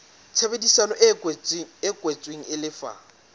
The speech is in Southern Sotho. tshebedisano e kwetsweng e lefa